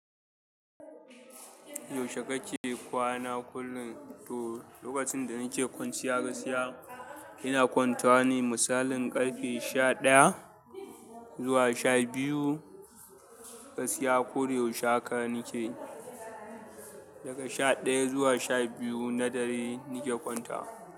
Yaushe kake kwana kullum? To lokacin da nake kwanciya gaskiya ina kwantawa ne misalin ƙarfe sha ɗaya zuwa sha biyu gaskiya ko da yaushe haka nake daga sha ɗaya zuwa sha biyu na dare nike kwantawa.